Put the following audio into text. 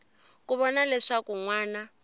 ku vona leswaku n wana